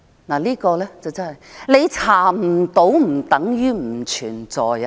你查不到不等於不存在。